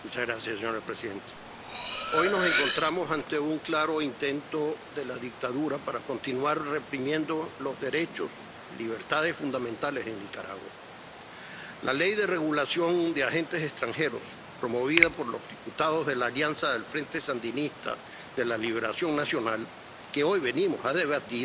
Señora presidenta, hoy nos encontramos ante un claro intento de la dictadura de continuar reprimiendo los derechos y libertades fundamentales en Nicaragua la Ley de Regulación de Agentes Extranjeros, promovida por los diputados de la Alianza Frente Sandinista de Liberación Nacional, que hoy venimos a debatir,